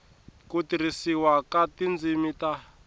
ku tirhisiwa ka tindzimi ta